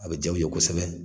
A be ja u kosɛbɛ